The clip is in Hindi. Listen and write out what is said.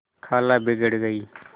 खाला बिगड़ गयीं